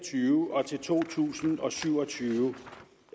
og tyve og til to tusind og syv og tyve